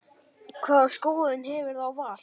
Hvaða skoðun hefurðu á Val?